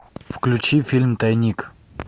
включи фильм тайник